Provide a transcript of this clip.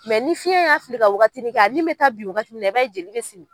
ni fiɲɛ y'a fili ka waagatini kɛ, a ni bɛ ta bin waagati min na i b'a ye jeli bɛ simi.